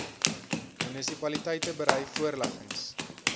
munisipaliteite berei voorleggings